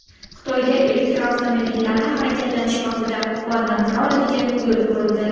Xitoyda elektromobillarni harakatlanish vaqtida quvvatlantira oladigan yo‘l qurildi.